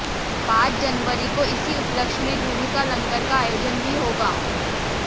पांच जनवरी को इसी उपलक्ष्य में गुरु का लंगर का आयोजन भी होगा